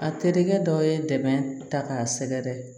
A terikɛ dɔ ye dɛmɛ ta k'a sɛgɛrɛ